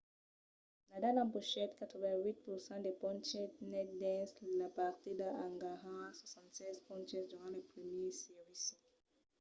nadal empochèt 88% de ponches nets dins la partida en ganhar 76 ponches durant lo primièr servici